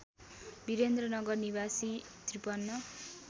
वीरेन्द्रनगर निवासी ५३